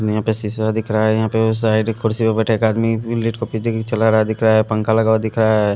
यहां पे सीसा दिख रहा है यहां पे वो साइड खुर्सी पे बैठे एक आदमी लिट को पीछे चला रहा दिख रहा है पंखा लगा हुआ दिख रहा है।